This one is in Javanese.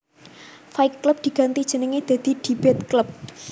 Fight Club diganti jenenge dadi Debate Club